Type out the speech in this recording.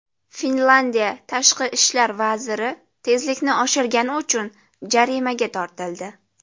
Finlyandiya tashqi ishlar vaziri tezlikni oshirgani uchun jarimaga tortildi.